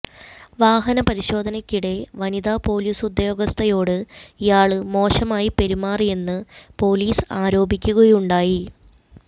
വാഹന പരിശോധനയ്ക്കിടെ വനിതാ പൊലീസുദ്യോഗസ്ഥയോട് ഇയാള് മോശമായി പെരുമാറിയെന്ന് പൊലീസ് ആരോപിക്കുകയുണ്ടായി